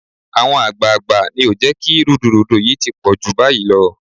Àwọn àgbààgbà ni ò jẹ́ kí rúdurùdu yìí ti jù báyìí lọ